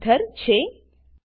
die methyl ether છે